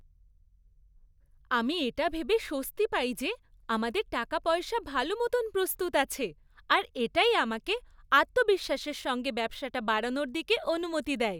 আমি এটা ভেবে স্বস্তি পাই যে আমাদের টাকাপয়সা ভালো মতন প্রস্তুত আছে আর এটাই আমাকে আত্মবিশ্বাসের সঙ্গে ব্যবসাটা বাড়ানোর দিকে অনুমতি দেয়।